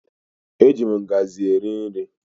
Eji ngazi eri nri.